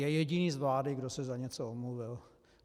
Je jediný z vlády, kdo se za něco omluvil.